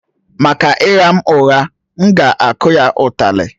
Maka ịgha m ụgha, m ga-akụ ya ụtali